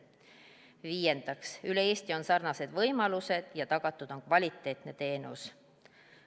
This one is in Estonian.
Viiendaks, üle Eesti on sarnased võimalused ja tagatud on kvaliteetne teenus.